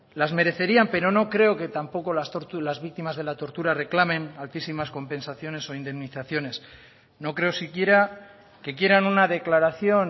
las merecerían pero no creo que tampoco las víctimas de la tortura reclamen altísimas compensaciones o indemnizaciones no creo si quiera que quieran una declaración